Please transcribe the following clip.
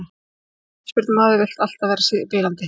Sem knattspyrnumaður viltu alltaf vera spilandi.